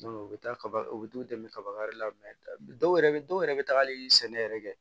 u bɛ taa kaba u t'u dɛmɛ kaba yɛrɛ la dɔw yɛrɛ bɛ dɔw yɛrɛ bɛ tagali sɛnɛ yɛrɛ kɛ